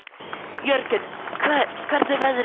Jörgen, hvernig er veðrið í dag?